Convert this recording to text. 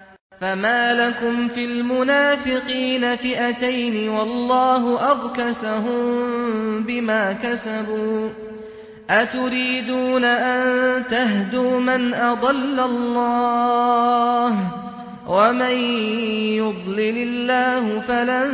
۞ فَمَا لَكُمْ فِي الْمُنَافِقِينَ فِئَتَيْنِ وَاللَّهُ أَرْكَسَهُم بِمَا كَسَبُوا ۚ أَتُرِيدُونَ أَن تَهْدُوا مَنْ أَضَلَّ اللَّهُ ۖ وَمَن يُضْلِلِ اللَّهُ فَلَن